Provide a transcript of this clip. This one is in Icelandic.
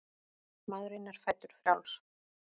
Maðurinn er fæddur frjáls.